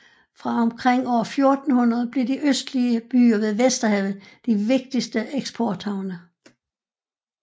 Fra omkring år 1400 blev de østlige byer ved Vesterhavet de vigtigste eksporthavne